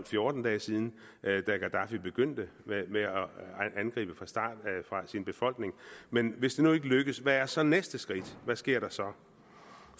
fjorten dage siden da gaddafi begyndt med at angribe sin befolkning men hvis det nu ikke lykkes hvad er så næste skridt hvad sker der så